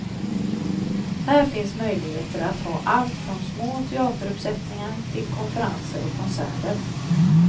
Här finns möjligheter att ha allt från små teateruppsättningar till konferenser och konserter.